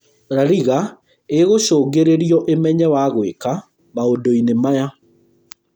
La Liga ĩgũcũngĩrĩrio ĩmenye wagwĩka maũndũ inĩ maya